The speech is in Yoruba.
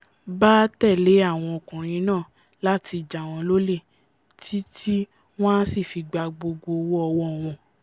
bá tẹ̀lé àwọn ọkùnrin náà láti jàwọ́n lólè tí tí wọ́n á sì gba gbogbo owó ọwọ́ wọn